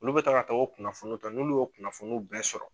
Olu bɛ taga ka taga o kunnafoniw ta n'olu y'u o kunnafoniw bɛɛ sɔrɔ